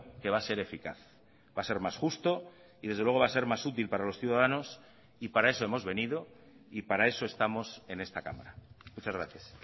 que va a ser eficaz va a ser más justo y desde luego va a ser más útil para los ciudadanos y para eso hemos venido y para eso estamos en esta cámara muchas gracias